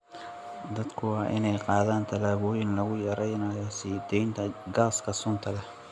Dadku waa inay qaadaan tallaabooyin lagu yareynayo sii deynta gaaska sunta leh.